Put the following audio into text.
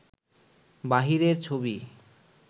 বাহিরের ছবি